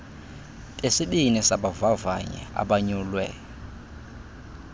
besibini sabavavanyi abanyulwe